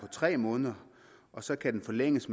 tre måneder og så kan den forlænges